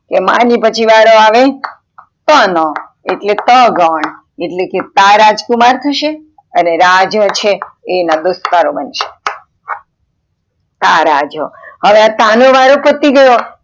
માં ની પછી વારો આવે ત નો એટલે ત ગણ એટલે કે તા રાજ્કુમાર થશે અને રાજ છે એ દોસ્તારો બનશે તારાજ હવે આ તા નો વારો પતિ ગયો